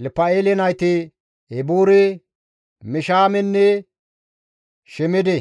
Elpa7eele nayti Eboore, Mishaamenne Shemede;